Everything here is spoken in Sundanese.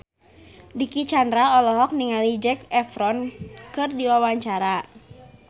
Dicky Chandra olohok ningali Zac Efron keur diwawancara